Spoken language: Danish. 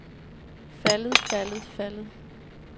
faldet faldet faldet